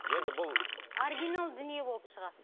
енді бұл оригинал дүние болып шығасың